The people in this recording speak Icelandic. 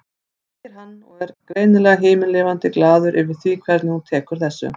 segir hann og er greinilega himinlifandi glaður yfir því hvernig hún tekur þessu.